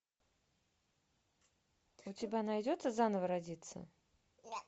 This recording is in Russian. у тебя найдется заново родиться